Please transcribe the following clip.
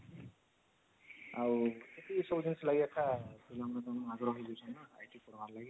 ଆଉ ଏତିକି ସବୁ ଜିନିଷ ଲାଗି ଏକା IT ପଢ଼ବା ଲାଗି